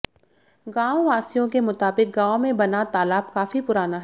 गांववासियों के मुताबिक गांव में बना तालाब काफी पुराना है